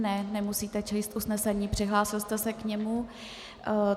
Ne, nemusíte číst usnesení, přihlásil jste se k němu.